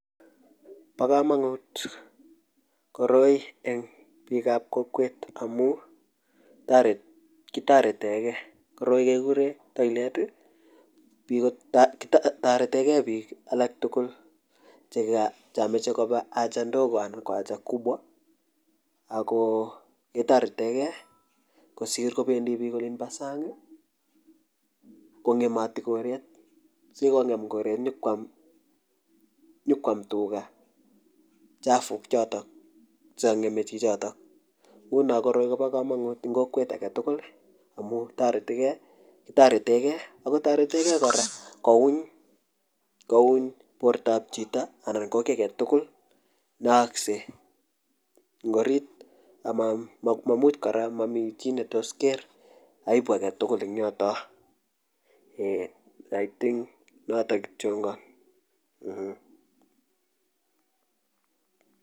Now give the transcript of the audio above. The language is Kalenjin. Po komonut koroi eng piik ap kokowet amu kitoreteke koroi kegure toilet, toretegei piko tugul chemachei kopa haja kibwa ana ko mdogo, ako ketaretege kosir kobendi biik Olin bo sang kong'emati goret ngongem koret nyokwam tuga chafuk chotok chekang'eme chichotok nguno koroi Kobo komonut eng kokwet agetugul amu kitoretege akotoretegei kora kouny portap chito anan ko kiy agetugul neyaakse eng arit anan mamichi ne tos ker aibu agetugul eng yoto.